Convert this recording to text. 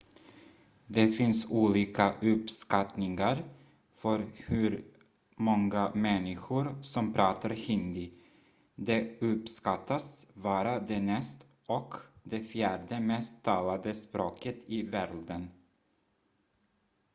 det finns olika uppskattningar för hur många människor som pratar hindi det uppskattas vara det näst och det fjärde mest talade språket i världen